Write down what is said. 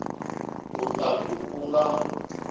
u ta ku ku nga